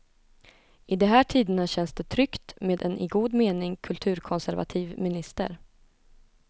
I de här tiderna känns det tryggt med en i god mening kulturkonservativ minister.